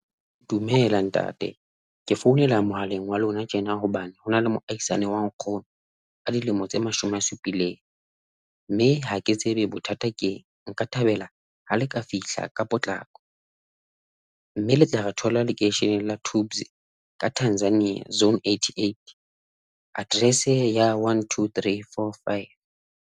Dumela Ntate. Ke founela mohaleng wa lona tjena hobane hona le moahisane wa nkgono a dilemo tse mashome a supileng. Mme ha ke tsebe bothata keng nka thabela ha le ka fihla ka potlako mme le tla re thola lekeisheneng la Toobs ka Tanzania, Zone eighty eight, Address ya one, two, three, four, five.